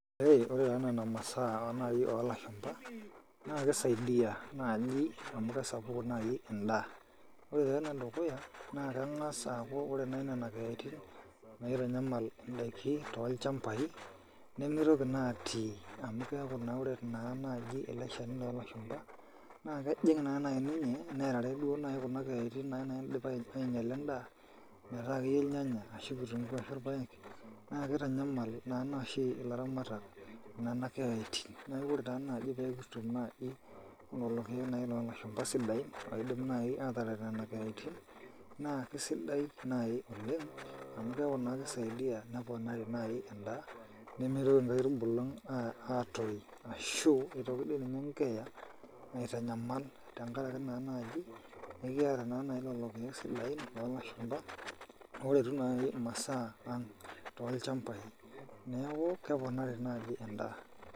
Ore taa nena masaa naaji oo lashupa naa kisaidia naaji amu kesapuku naaji endaa ore taa ene dukuya naa kengas aaku ore nena keyaitin naitanyamal indaikin too ilchambai nimitoki naa atii amu keaku naa ore naa naaji ele shani loo lashupa naa kejing naa naaji ninye nerare naaji duo kuna keyaitin naidimayu neinyala endaa metaa akeyie irnyanya ashu kitunguu ashu irpaek naa kitanyamal oshi ilaramatak kuna keyaitin neaku ore taa naaji pee kitum naaji lelo keek naaji loo lashupa sidain oidim naaji atarayie nena keyaitin naa sidai naaji oleng amu keaku naa kisaidia neponari naaji endaa nimitoki irpulung atum ashu nimitoki dii ninye eekea aitanyamal tenkaraki taa naaji eji mikiyata naa naaji lelo keek sidain loo lashupa oretu masaa ang too ilchambai neaku keponari naaji.